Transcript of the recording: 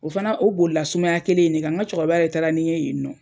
O fana o bolila sumaya kelen in de kan, ŋa cɛkɔrɔba yɛ taara ni n ye yen nɔ.